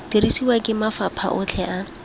dirisiwa ke mafapha otlhe a